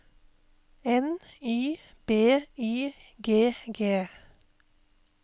N Y B Y G G